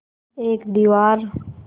एक दीवार